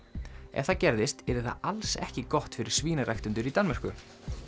ef það gerðist yrði það alls ekki gott fyrir svínaræktendur í Danmörku